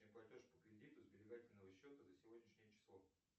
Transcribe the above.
платеж по кредиту сберегательного счета за сегодняшнее число